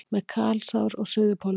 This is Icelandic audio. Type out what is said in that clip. Með kalsár á Suðurpólnum